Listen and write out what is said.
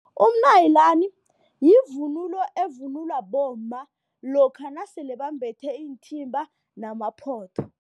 Umnayilani yivunulo evunulwa bomma lokha nasele bambethe iinthimba namaphotho.